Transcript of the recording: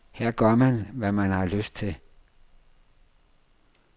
Her gør man, hvad man har lyst til.